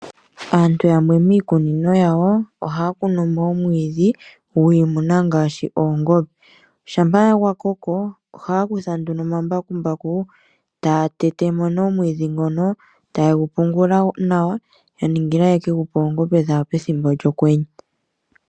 Aantu yamwe miikunino yawo ohaya kunimo omwiidhi gwiimuna ngaashi oongombe ,Shampa gwakoko ohaya kutha nduno omambakumbaku taya tetemo nee omwiidhi ngono taye shi pungula nawa ya ningile ye gupe oongombe dhawo pethimbo lyokwenye.